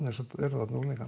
og unglinga